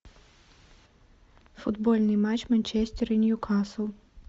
футбольный матч манчестер и ньюкасл